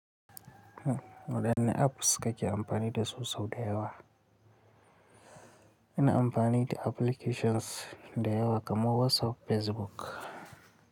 Waɗanne apps kake amfani dasu sau da yawa? Ina amfani da applications da yawa kamar WhatsApp, Facebook.